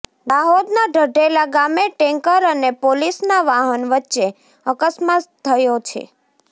દાહોદના ઢઢેલા ગામે ટેન્કર અને પોલીસના વાહન વચ્ચે અકસ્માત થયો છે